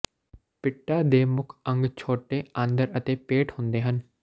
ਪਿਟਾ ਦੇ ਮੁੱਖ ਅੰਗ ਛੋਟੇ ਆਂਦਰ ਅਤੇ ਪੇਟ ਹੁੰਦੇ ਹਨ